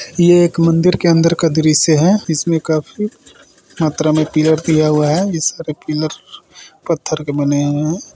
यह एक मंदिर के अंदर का दृश्य है इसमें काफी मात्रा में पिलर दिया हुआ है यह सारे पिलर पत्थर के बने हुए हैं।